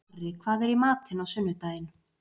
Marri, hvað er í matinn á sunnudaginn?